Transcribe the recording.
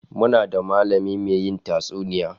Muna da mallami mai yin tatsuniya